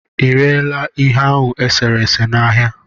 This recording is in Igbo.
ịrela ihe ahụ eserese na ahịa?